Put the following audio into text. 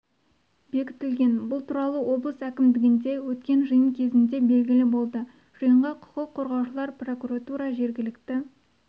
бекітілген бұл туралы облыс әкімдігінде өткен жиын кезінде белгілі болды жиынға құқық қорғаушылар прокуратура жергілікті